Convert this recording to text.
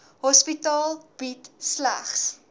hospitaal bied slegs